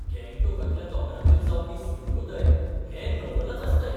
गंगटोकांतल्या दोंगरांचेर जावपी सुर्योदय हें नवलच आसता एक.